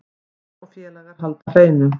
Hermann og félagar halda hreinu